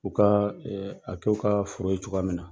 U ka ka k'u ka foro ye cogoya min na.